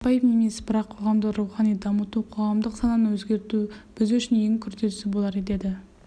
қарапайым емес бірақ қоғамды рухани дамыту қоғамдық сананы өзгерту біз үшін ең күрделісі болар деді